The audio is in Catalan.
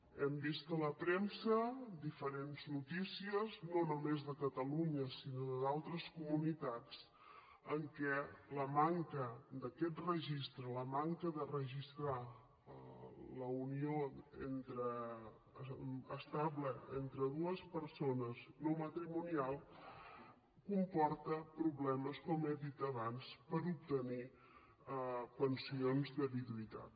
hem vist a la premsa diferents notícies no només de catalunya sinó d’altres comunitats en què la manca d’aquests registres la manca de registrar la unió estable entre dues persones no matrimonial comporta problemes com he dit abans per obtenir pensions de viduïtat